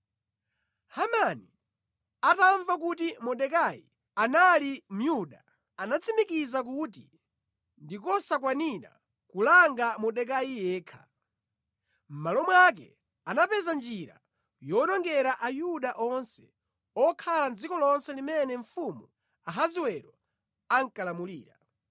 Hamani atamva kuti Mordekai anali Myuda, anatsimikiza kuti ndi kosakwanira kulanga Mordekai yekha. Mʼmalo mwake anapeza njira yowonongera Ayuda onse okhala mʼdziko lonse limene mfumu Ahasiwero ankalamulira.